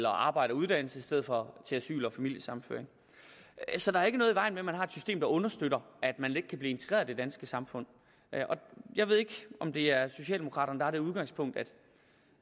at arbejde og uddanne sig i stedet for til asyl og familiesammenføring så der er ikke noget i vejen med at man har et system der understøtter at man let kan blive integreret i det danske samfund jeg ved ikke om det er socialdemokraterne der har det udgangspunkt